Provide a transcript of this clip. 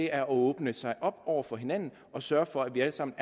er at åbne sig op over for hinanden og sørge for at vi alle sammen